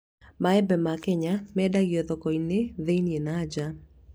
Maembe ma Kenya yendagio mathoko ma thĩiniĩ na nja